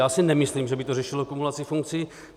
Já si nemyslím, že by to řešilo kumulaci funkcí.